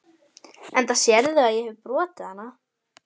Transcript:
Enda sérðu að ég hefi brotið hana.